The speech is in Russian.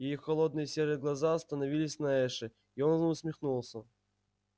её холодные серые глаза остановились на эше и он усмехнулся